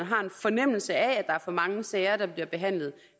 har en fornemmelse af at der er for mange sager der bliver behandlet